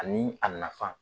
Ani a nafa